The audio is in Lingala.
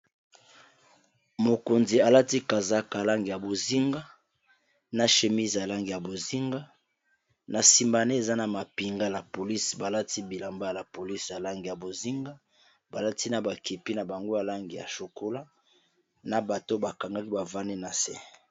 Mokonzi alati kazaka langi ya bozinga na chemise ya langi ya bozinga na sima ne eza na mapinga la police balati bilamba ya police ya lange ya bozinga balati na bakepi na bango ya langi ya chokola na bato bakangaki bavandi na se.